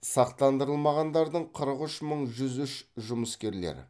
сақтандырылмағандардың қырық үш мың жүз үш жұмыскерлер